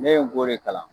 Ne ye n g'o de kalan